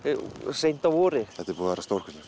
seint að vori þetta er búið að vera stórkostlegt